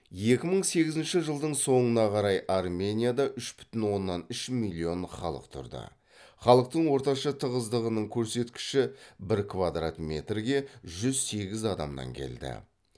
екі мың сегізінші жылдың соңына қарай арменияда үш бүтін оннан үш миллион халық тұрды халықтың орташа тығыздығының көрсеткіші бір квадрат метрге жүз сегіз адамнан келді